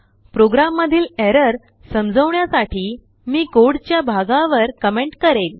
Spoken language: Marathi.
प्रोग्राममधीलerrorसमजवण्यासाठी मीकोडच्या भागावर कमेंट करेल